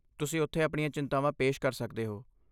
ਤੁਸੀਂ ਉੱਥੇ ਆਪਣੀਆਂ ਚਿੰਤਾਵਾਂ ਪੇਸ਼ ਕਰ ਸਕਦੇ ਹੋ।